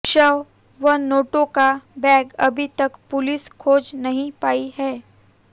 शव व नोटों का बैग अभी तक पुलिस खोज नहीं पायी है